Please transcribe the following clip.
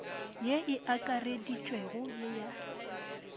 ye e akareditšwego ye ya